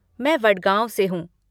मैं वडगाँव से हूँ।